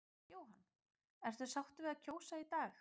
Jóhann: Ertu sáttur við að kjósa í dag?